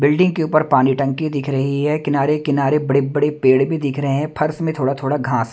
building के ऊपर पानी टंकी दिख रही है किनारे किनारे बड़े-बड़े पेड़ भी दिख रहे हैं फर्स में थोड़ा-थोड़ा घास--